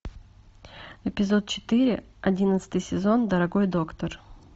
эпизод четыре одиннадцатый сезон дорогой доктор